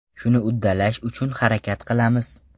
Shuni uddalash uchun harakat qilamiz.